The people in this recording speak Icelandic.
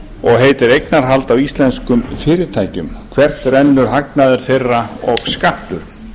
og heitir eignarhald á íslenskum fyrirtækjum hvert rennur hagnaður þeirra og skattur